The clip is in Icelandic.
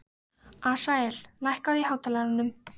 Asael, lækkaðu í hátalaranum.